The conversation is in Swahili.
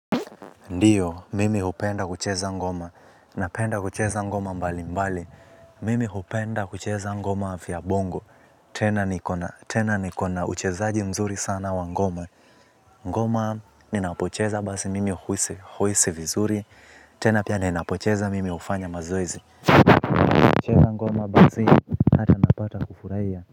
Ndiyo, mimi upenda kucheza ngoma, napenda kucheza ngoma mbali mbali. Mimi upenda kucheza ngoma vya bongo. Tena nikona, tena nikona uchezaji mzuri sana wa ngoma. Ngoma, ninapocheza basi mimi huisi huisi vizuri. Tena pia ninapocheza mimi hufanya mazoezi nacheza ngoma basi, hata napata kufurahia.